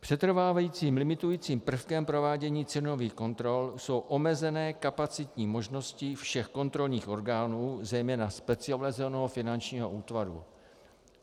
Přetrvávajícím limitujícím prvkem provádění cenových kontrol jsou omezené kapacitní možnosti všech kontrolních orgánů, zejména specializovaného finančního útvaru.